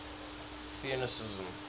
theunissen